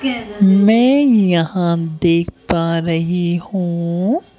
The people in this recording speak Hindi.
मैं यहां देख पा रही हूं।